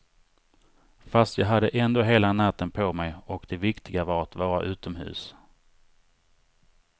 Fast jag hade ändå hela natten på mig, och det viktiga var att vara utomhus.